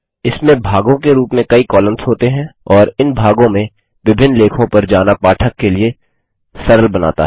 इसमें भागों के रूप में कई कॉलम्स होते हैं और इन भागों में विभिन्न लेखों पर जाना पाठक के लिए सरल बनाता है